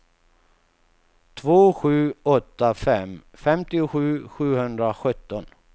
två sju åtta fem femtiosju sjuhundrasjutton